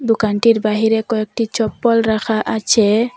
দোকানটির বাহিরে কয়েকটি চপ্পল রাখা আছে।